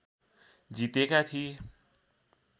जितेका थिए